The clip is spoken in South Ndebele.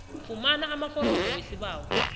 fumana amaforomo wesibawo